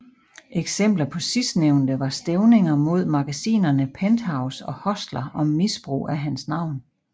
Eksempler på sidstnævnte var stævninger mod magasinerne Penthouse og Hustler om misbrug af hans navn